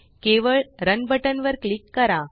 केवळ run button वर click करा